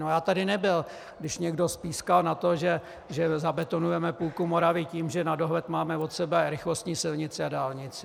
No já tady nebyl, když někdo spískal to, že zabetonujeme půlku Moravy tím, že na dohled máme od sebe rychlostní silnici a dálnici.